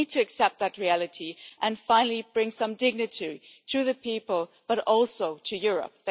We need to accept that reality and finally bring some dignity to the people, but also to Europe.